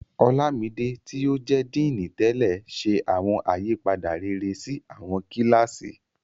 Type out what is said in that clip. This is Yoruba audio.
Olámidé, tí ó jẹ́ Díìnì tẹ́lẹ̀, ṣe awọn àyípadà rere sí àwọn kíláàsì.